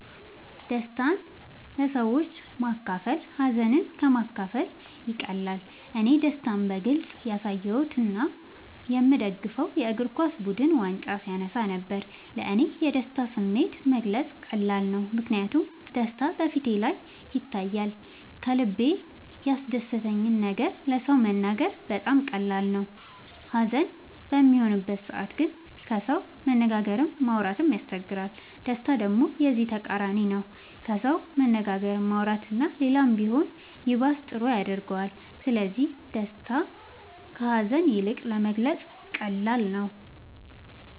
ደስታን ለሰዎች ማካፈል ሀዘንን ከ ማካፈል ይቀላል እኔ ደስታን በግልፅ ያሳየሁት የ ምደግፈው የ እግርኳስ ቡድን ዋንጫ ሲያነሳ ነበር። ለ እኔ የደስታን ስሜት መግለፅ ቀላል ነው ምክንያቱም ደስታ በ ፊቴ ላይ ይታያል ከልበ ያስደሰተን ነገር ለ ሰው መናገር በጣም ቀላል ነው ሀዘን በሚሆንበት ሰዓት ግን ከሰው መነጋገርም ማውራት ይቸግራል ደስታ ደሞ የዚ ተቃራኒ ነው ከሰው መነጋገር ማውራት እና ሌላም ቢሆን ይባስ ጥሩ ያረገዋል ስለዚ ደስታ ከ ሀዛን ይልቅ ለመግለፃ ቀላል ነው።